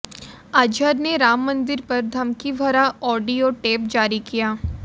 अजहर ने राम मंदिर पर धमकी भरा ऑडियो टेप जारी किया